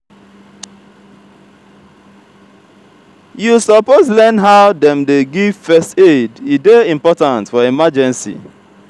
you suppose learn how dem dey give first aid e dey important for emergency.